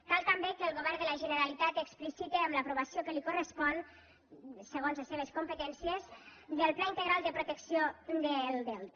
cal també que el govern de la generalitat explicite amb l’aprovació que li correspon segons les seves competències del pla integral de protecció del delta